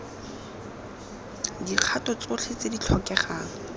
dikgato tsotlhe tse di tlhokegang